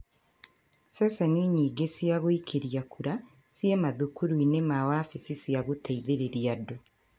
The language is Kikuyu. Ceceni nyingĩ cia gũikĩria kura ciĩ mathukuru-inĩ na wabici ma gũteithĩrĩria andũ